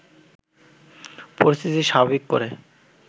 পরিস্থিতি স্বাভাবিক করে